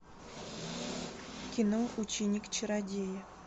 кино ученик чародея